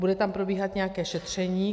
Bude tam probíhat nějaké šetření.